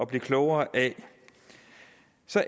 blive klogere af